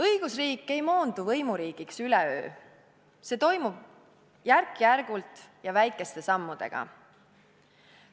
Õigusriik ei moondu võimuriigiks üleöö, see toimub järk-järgult ja väikeste sammudega.